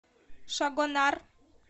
шагонар